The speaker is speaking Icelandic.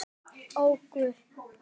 Ó, Guð!